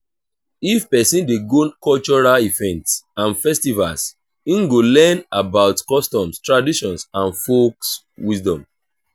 if persin de go cultural events and festivals im go learn about customs traditions and folk wisdom